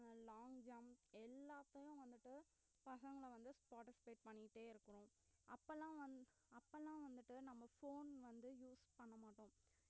அஹ் long jump எல்லாத்தையும் வந்துட்டு பசங்கள வந்து participate பண்ணிட்டே இருக்கணும் அப்பல்லாம் வந்~ அப்பல்லாம் வந்துட்டு நம்ப phone வந்து use பண்ண மாட்டோம்